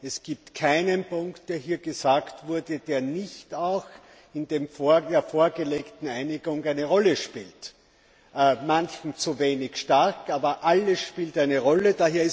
Es gibt keinen Punkt, der hier gesagt wurde, der nicht auch in der vorgelegten Einigung eine Rolle spielt manchen zu wenig stark, aber alles spielt eine Rolle.